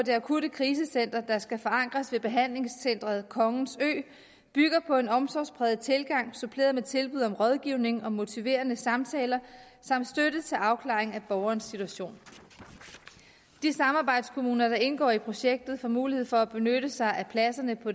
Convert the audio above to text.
akutkrisecenteret der skal forankres ved behandlingscenteret kongens ø bygger på en omsorgspræget tilgang suppleret med tilbud om rådgivning og motiverende samtaler samt støtte til afklaring af borgerens situation de samarbejdskommuner der indgår i projektet får mulighed for at benytte sig af pladserne på